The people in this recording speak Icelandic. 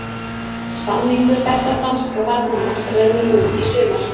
Samningur þessa franska varnarmanns rennur út í sumar.